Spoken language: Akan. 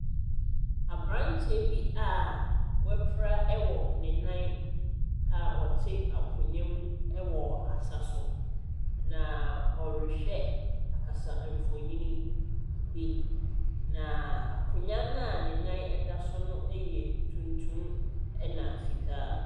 Aberanteɛ bi a wapira ɛwɔ ne nan a wɔte akonwa mu ɛwɔ asa so. Na ɔrehwɛ akasamfonin bi, na akonwa a ne nan ɛda so no yɛ tuntum ɛna fitaa.